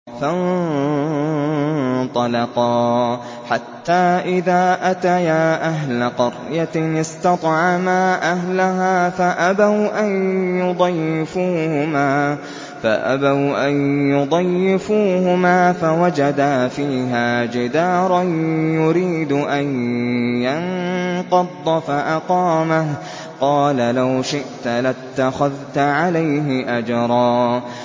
فَانطَلَقَا حَتَّىٰ إِذَا أَتَيَا أَهْلَ قَرْيَةٍ اسْتَطْعَمَا أَهْلَهَا فَأَبَوْا أَن يُضَيِّفُوهُمَا فَوَجَدَا فِيهَا جِدَارًا يُرِيدُ أَن يَنقَضَّ فَأَقَامَهُ ۖ قَالَ لَوْ شِئْتَ لَاتَّخَذْتَ عَلَيْهِ أَجْرًا